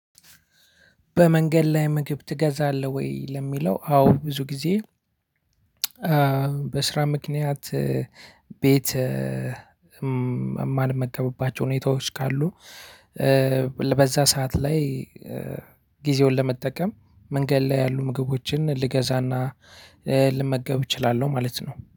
በመንገድ ላይ ምግብ ትገዛለህ ወይ ለሚለው አዎ ብዙ ጊዜ በስራ ምክንያት ቤት ማልመጣባቸው ሁኔታዎች ካሉ በዛ ሰዓት ላይ ጊዜውን ለመጠቀም መንገድ ላይ ያሉ ምግቦችን ልገዛና እ ልመገብ እችላለሁ ማለት ነው።